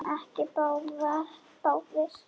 En ekki báðir.